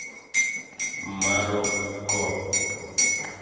марокко